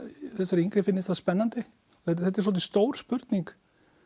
þessari yngri finnist það spennandi þetta er svolítið stór spurning